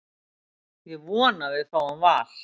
Ég vona að við fáum Val.